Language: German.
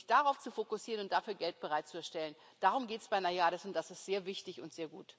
Und sich darauf zu fokussieren und dafür Geld bereitzustellen, darum geht es bei NAIADES, und das ist sehr wichtig und sehr gut.